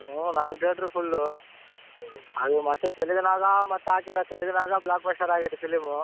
ಹ್ಮ್ ನಾಕ್ theatre ಉ full ಉ. ಅದು ಮತ್ತ ತೆಲುಗಿನಾಗ ಮತ್ ಹಾಕ್ಯಾರ ತೆಲುಗಿನಾಗ blockbuster ಆಗೈತೆ film.